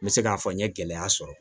N bɛ se k'a fɔ n ye gɛlɛya sɔrɔ